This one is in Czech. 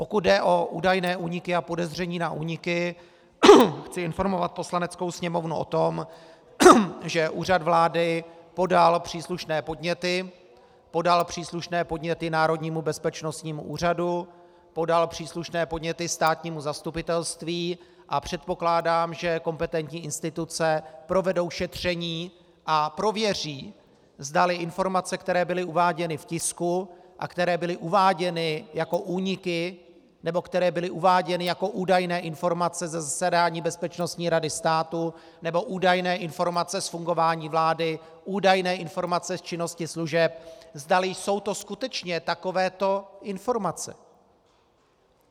Pokud jde o údajné úniky a podezření na úniky, chci informovat Poslaneckou sněmovnu o tom, že Úřad vlády podal příslušné podněty, podal příslušné podněty Národnímu bezpečnostnímu úřadu, podal příslušné podněty státnímu zastupitelství, a předpokládám, že kompetentní instituce provedou šetření a prověří, zdali informace, které byly uváděny v tisku a které byly uváděny jako úniky nebo které byly uváděny jako údajné informace ze zasedání Bezpečnostní rady státu nebo údajné informace z fungování vlády, údajné informace z činnosti služeb, zdali jsou to skutečně takovéto informace.